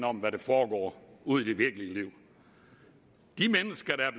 om hvad der foregår ude i det virkelige liv de mennesker der